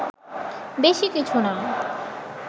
বেশি কিছু না